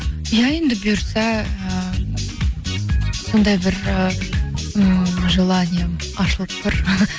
иә енді бұйырса ы сондай бір ы ммм желанием ашылып бір